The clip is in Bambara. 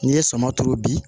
N'i ye suman turu bi